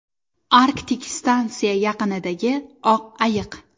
Arktik stansiya yaqinidagi oq ayiq.